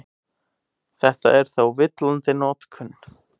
Þetta er þó villandi notkun.